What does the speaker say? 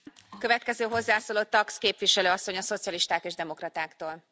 Voorzitter, stel je voor je bent een meisje van